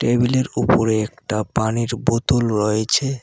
টেবিলের ওপরে একটা পানির বোতল রয়েছে।